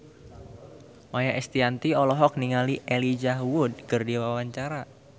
Maia Estianty olohok ningali Elijah Wood keur diwawancara